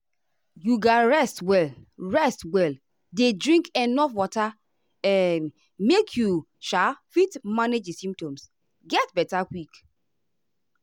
you ga rest well rest well dey drink enuf water um make you sha fit manage di symptoms get beta quick.